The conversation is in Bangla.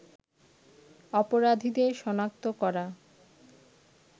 অপরাধীদের শনাক্ত করা